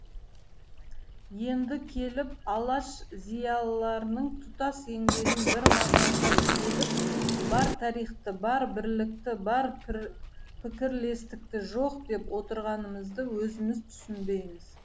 енді келіп алаш зиялыларының тұтас еңбегін бір мағжанға теліп бар тарихты бар бірлікті бар пікірлестікті жоқ деп отырғанымызды өзіміз түсінбейміз